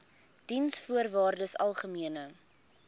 diensvoorwaardesalgemene